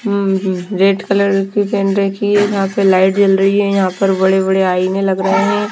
हम red colour की pen रखी है यहां पे लाइट जल रही है यहां पर बड़े-बड़े आइने लग रहे हैं।